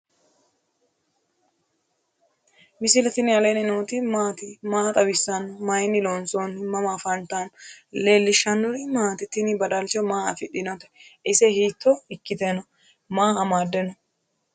misile tini alenni nooti maati? maa xawissanno? Maayinni loonisoonni? mama affanttanno? leelishanori maati? tinni badalcho maa afiidhinote? ise hito ikite no?maa amade nose?